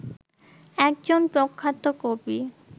একজন প্রখ্যাত কবি